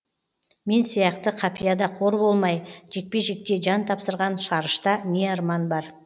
мен сияқты қапияда қор болмай жекпе жекте жан тапсырған шарышта не арман бар